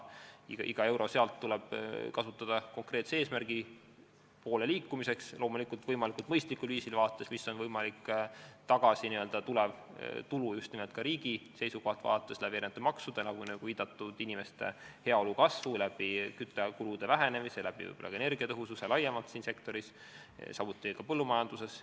Iga euro tuleb kasutada konkreetse eesmärgi poole liikumiseks, loomulikult mõistlikul viisil, vaadates, mis on võimalik tagasi tulev tulu just nimelt ka riigi seisukohalt, vaadates makse, nagu viidatud, inimeste heaolu kasvu küttekulude vähenemise tõttu, ka energiatõhususe tõttu laiemalt seal sektoris, samuti ka põllumajanduses.